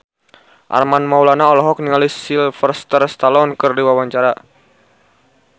Armand Maulana olohok ningali Sylvester Stallone keur diwawancara